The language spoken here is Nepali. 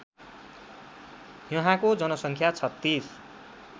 यहाँको जनसङ्ख्या ३६